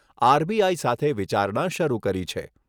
RBI સાથે વિચારણા શરૂ કરી છે.